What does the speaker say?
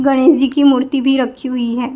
गणेश जी की मूर्ति भी रखी हुई है।